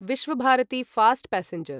Visva Bharati fast passenger